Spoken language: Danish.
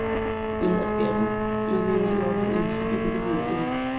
Men hvad sker der, når vi end ikke oplever en flig af dette vidunderlige.